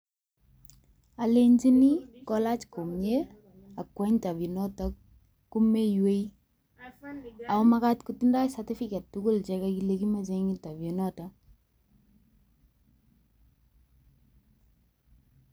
Alechini kolach komye akwo interview notok ko meiwei. Ago magat kotindoi certificate tugul chekagile kimache eng interview inotok.